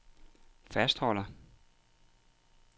fastholder